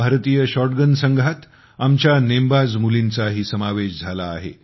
भारतीय शॉटगन संघात आमच्या नेमबाज मुलींचाही समावेश झाला आहे